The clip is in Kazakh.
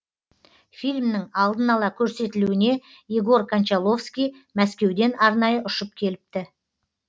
фильмнің алдын ала көрсетілуіне егор кончаловский мәскеуден арнайы ұшып келіпті